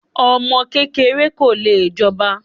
Ọmọ kékeré ko lè jọba.